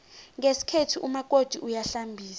ngesikhethu umakoti uyahlambisa